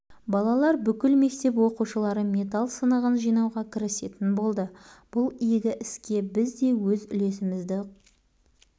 балалар бүкіл мектеп оқушылары металл сынығын жинауға кірісетін болды бұл игі іске біз де өз үлесімізді